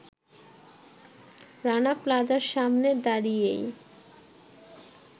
রানা প্লাজার সামনে দাড়িয়েই